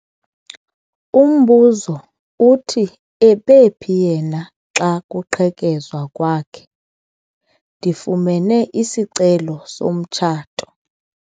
Umbuzo uthi ebephi yena xa kuqhekezwa kwakhe? ndifumene isicelo somtshato